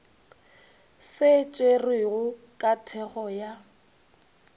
se tšerwego ka thekgo ya